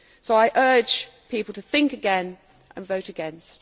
I urge people to think again and vote against.